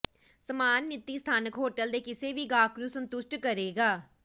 ਸਮਾਨ ਨੀਤੀ ਸਥਾਨਕ ਹੋਟਲ ਦੇ ਕਿਸੇ ਵੀ ਗਾਹਕ ਨੂੰ ਸੰਤੁਸ਼ਟ ਕਰੇਗਾ